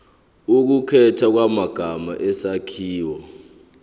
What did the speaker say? ukukhethwa kwamagama isakhiwo